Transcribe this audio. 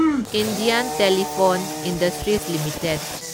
Indian telephone industries limited